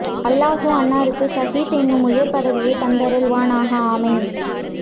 அல்லாஹ் அன்னாருக்கு சஹீத் என்னும் உயர் பதவியை தந்தருள் வானாக ஆமீன்